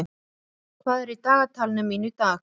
Hárekur, hvað er í dagatalinu mínu í dag?